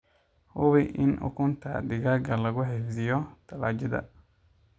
Hubi in ukunta digaaga lagu xifdiyoo talaajadda.